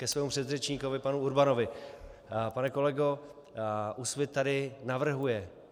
Ke svému předřečníkovi panu Urbanovi: Pane kolego, Úsvit tady navrhuje.